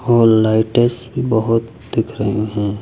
और लाइटे सी बहोत दिख रहे हैं।